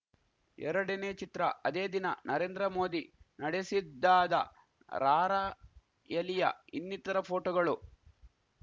ಎರಡನೇ ಚಿತ್ರ ಅದೇ ದಿನ ನರೇಂದ್ರ ಮೋದಿ ನಡೆಸಿದ್ದಾದ ರಾರಾಯಲಿಯ ಇನ್ನಿತರ ಫೋಟೋಗಳು